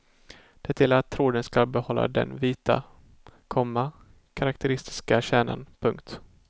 Det gäller att tråden ska behålla den vita, komma karakteristiska kärnan. punkt